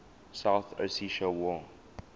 south ossetia war